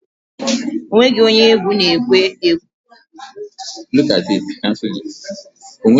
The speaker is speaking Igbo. Ọ nweghị onye egwu na ekwe agbaha okwu nna anyị n'nzuko ezinaụlọ anyi